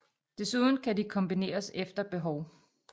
Desuden kan de kombineres efter behov